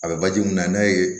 A bɛ baji mun na n'a ye